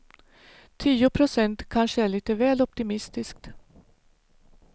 Tio procent kanske är lite väl optimistiskt.